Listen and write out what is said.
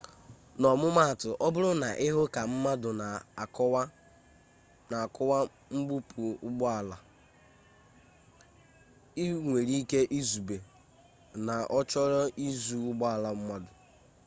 n'ọmụmatụ ọbụrụ na ị hụ ka mmadụ na akụwa mgbupu ụgbọala ị nwere ike izube na ọ chọrọ izu ụgbọala mmadụ